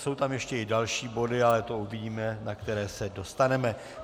Jsou tam ještě i další body, ale to uvidíme, na které se dostaneme.